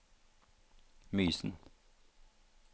Mysen